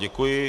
Děkuji.